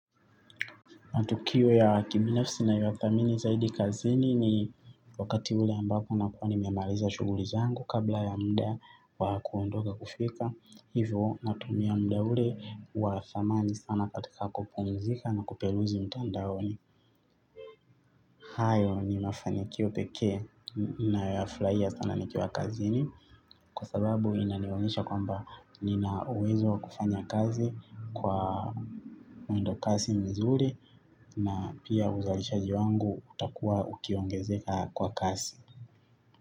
Matukio ya kibinafsi nayoyathamini zaidi kazini ni wakati ule ambapo nakuwa ni memaliza shuguli zangu kabla ya mda wa kuondoka kufika. Hivo natumia mda ule wa thamani sana katika kupumzika na kupeluzi mtandaoni. Hayo ni mafanikio pekee nayo yafurahia sana nikiwa kazini. Kwa sababu inanionyesha kwamba nina uwezo kufanya kazi kwa mwendo kasi mzuri. Na pia uzalishaji wangu utakuwa ukiongezeka kwa kasi.